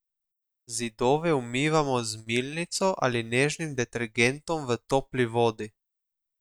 Zidove umivamo z milnico ali nežnim detergentom v topli vodi.